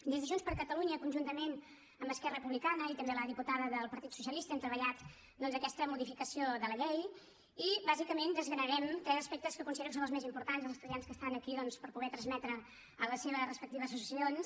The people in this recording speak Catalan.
des de junts per catalunya conjuntament amb esquerra republicana i també la diputada del partit socialista hem treballat aquesta modificació de la llei i bàsicament desgranarem tres aspectes que considero que són els més importants als estudiants que estan aquí doncs per poder ho transmetre a les seves respectives associacions